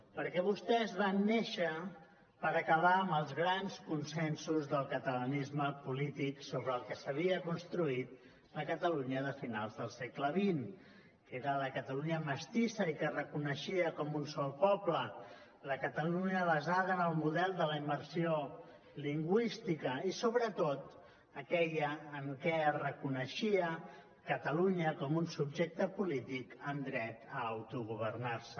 perquè vostès van néixer per acabar amb els grans consensos del catalanisme polític sobre el que s’havia construït la catalunya de finals del segle xx que era la catalunya mestissa i que es reconeixia com un sol poble la catalunya basada en el model de la immersió lingüística i sobretot aquella en què es reconeixia catalunya com un subjecte polític amb dret a autogovernar se